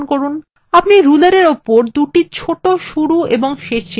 আপনি rulerএর উপর দুটি ছোট শুরু এবং শেষ চিহ্ন দেখতে পাচ্ছেন